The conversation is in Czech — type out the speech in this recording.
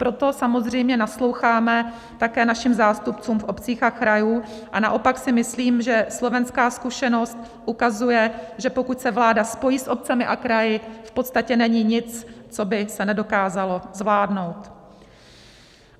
Proto samozřejmě nasloucháme také našim zástupcům v obcích a krajích, a naopak si myslím, že slovenská zkušenost ukazuje, že pokud se vláda spojí s obcemi a kraji, v podstatě není nic, co by se nedokázalo zvládnout.